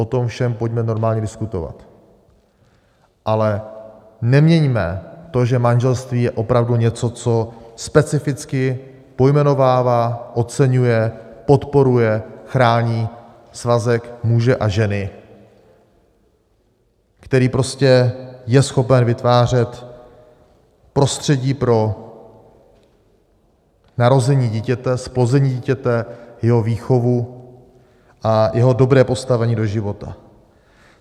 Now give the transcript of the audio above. O tom všem pojďme normálně diskutovat, ale neměňme to, že manželství je opravdu něco, co specificky pojmenovává, oceňuje, podporuje, chrání svazek muže a ženy, který prostě je schopen vytvářet prostředí pro narození dítěte, zplození dítěte, jeho výchovu a jeho dobré postavení do života.